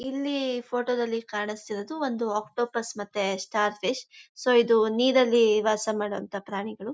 ಇಲ್ಲಿ ಫೋಟೋದಲ್ಲಿ ಕಾಣಿಸ್ತಾ ಇರೋದು ಒಂದು ಆಕ್ಟೋಪಸ್ ಮತ್ತೆ ಸ್ಟಾರ್ ಫಿಶ್. ಸೊ ಇದು ನೀರಲ್ಲಿ ವಾಸಮಾಡುವಂತ ಪ್ರಾಣಿಗಳು.